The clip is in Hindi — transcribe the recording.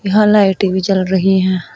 यहां लाइटे भी जल रही है।